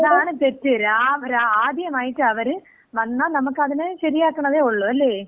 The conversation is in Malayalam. പക്ഷെ അതാണ് തെറ്റ്. ആദ്യമായിറ്റ് അവര് വന്നാ നമ്മക്ക് അതിനെ ശരിയാക്കണതെ ഉള്ളു. അല്ലേ?